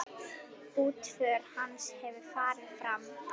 Útför hans hefur farið fram.